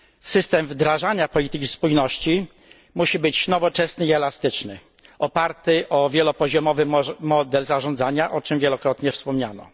System wdrażania polityki spójności musi być nowoczesny i elastyczny, oparty o wielopoziomowy model zarządzania, o czym wielokrotnie wspominano.